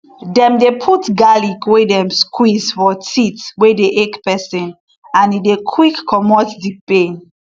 dem dey put garlic wey dem squeeze for teeth wey dey ache peson and e dey quick comot di pain